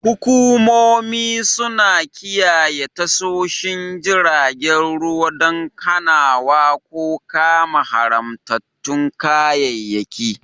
Hukumomi suna kiyaye tashoshin jiragen ruwa don hanawa ko kama haramtattun kayayyaki.